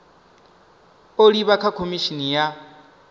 u livha kha khomishini ya